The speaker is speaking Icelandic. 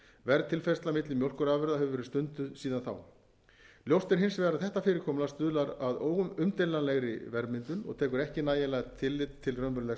verðtilfærsla milli mjólkurafurða hefur verið stunduð síðan þá ljóst er hins vegar að þetta fyrirkomulag stuðlar að umdeilanlegri verðmyndun og tekur ekki nægjanlegt tillit til raunverulegs